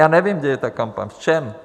Já nevím, kde je ta kampaň, v čem?